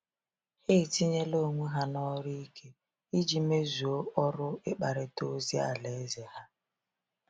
Ha etinyela onwe ha n’ọrụ ike iji mezuo ọrụ ịkparịta ozi Alaeze ha.